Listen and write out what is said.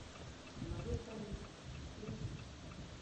майор полиции включи